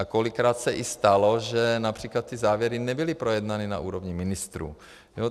A kolikrát se i stalo, že například ty závěry nebyly projednány na úrovni ministrů.